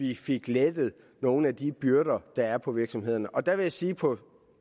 vi fik lettet nogle af de byrder der er på virksomhederne og der vil jeg sige at på